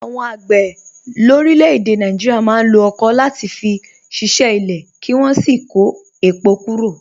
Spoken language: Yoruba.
Àwọn àgbẹ̀ lórílẹ̀-èdè Nàìjíríà máa ń lo ọ̀kọ̀ láti fi ṣiṣẹ́ ilẹ̀, kí wọ́n sì kó èpò kúrò.